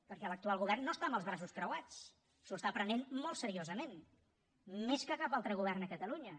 perquè l’actual govern no està amb els braços creuats s’ho està prenent molt seriosament més que cap altre govern a catalunya